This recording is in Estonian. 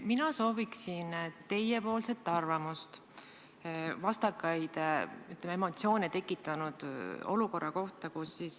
Mina sooviksin kuulda teie arvamust vastakaid emotsioone tekitanud olukorra kohta.